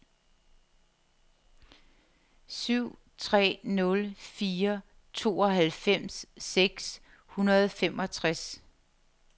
syv tre nul fire tooghalvfems seks hundrede og femogtres